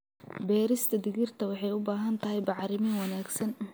Beerista digirta waxay u baahan tahay bacrimin wanaagsan.